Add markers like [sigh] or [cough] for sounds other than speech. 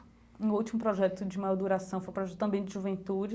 Meu último projeto de maior duração foi [unintelligible] também de juventude.